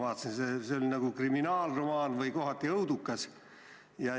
See oli kohati nagu kriminaalromaan või õudukas.